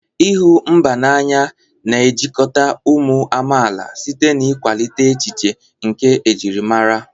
ịhụ mba n'anya na-ejikọta ụmụ amaala site n'ịkwalite echiche nke njirimara.